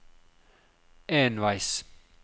enveis